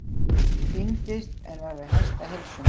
Týndist en var við hestaheilsu